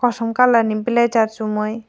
kosom kalar ni blasure chumui.